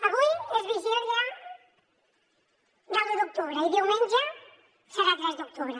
avui és vigília de l’un d’octubre i diumenge serà tres d’octubre